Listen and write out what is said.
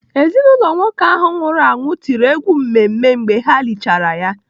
Ezinaụlọ nwoke ahụ nwụrụ anwụ tiri egwu mmemme mgbe ha lichara ya.